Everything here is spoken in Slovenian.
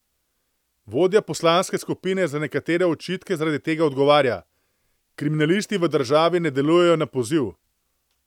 Vodja poslanske skupine na nekatere očitke zaradi tega odgovarja: "Kriminalisti v državi ne delujejo na poziv.